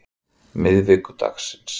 miðvikudagsins